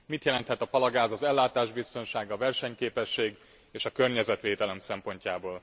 Mit jelenthet a palagáz az ellátásbiztonság, a versenyképesség és a környezetvédelem szempontjából?